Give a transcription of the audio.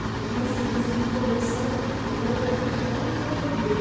Inclusive esses dias a gente conversando, eu falei para ele, que ponto eu cheguei?